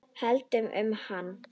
Held um hana.